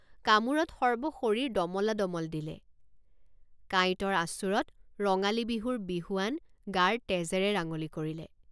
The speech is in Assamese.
কামোৰত সৰ্বশৰীৰ দমলাদমল দিলে। কামোৰত সৰ্বশৰীৰ দমলাদমল দিলে। কাঁইটৰ আঁচোৰত ৰঙালী বিহুৰ বিহুৱান গাৰ তেজেৰে ৰাঙলী কৰিলে।